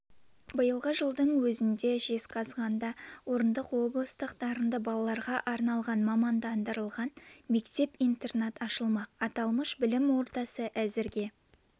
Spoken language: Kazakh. биылғы жылдың өзінде жезқазғанда орындық облыстық дарынды балаларға арналған мамандандырылған мектеп-интернат ашылмақ аталмыш білім ордасы әзірге